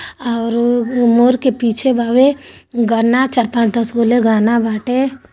और मोर के पीछे घाव लग रहा है |